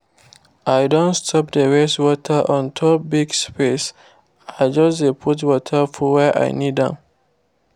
i don stop dey waste water on top big space i just dey put water for where i need am